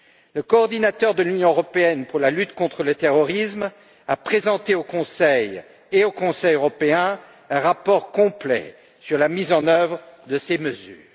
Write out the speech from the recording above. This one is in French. Le coordinateur de l'Union pour la lutte contre le terrorisme a présenté au Conseil et au Conseil européen un rapport complet sur la mise en œuvre de ces mesures.